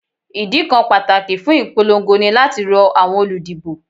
Ìdí kan pàtàkì fún ìpolongo ní láti rọ àwọn olùdìbò